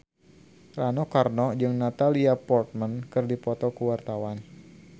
Rano Karno jeung Natalie Portman keur dipoto ku wartawan